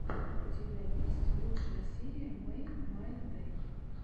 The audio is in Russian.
у тебя есть лучшая серия мэйдмайдэй